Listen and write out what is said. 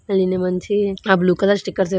మంచి blue colour stickers అయితే --